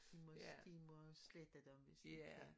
De må de må slette dem hvis de kan